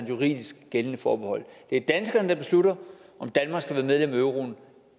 juridisk gældende forbehold det er danskerne der beslutter om danmark skal være med i euroen